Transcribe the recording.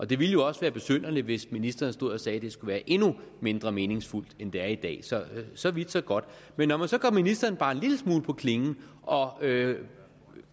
det ville jo også være besynderligt hvis ministeren stod og sagde at det skulle være endnu mindre meningsfuldt end det er i dag så så vidt så godt men når man så går ministeren bare en lille smule på klingen og